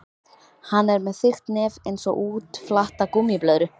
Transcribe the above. Hann er með þykkt nef einsog útflatta gúmmíblöðru.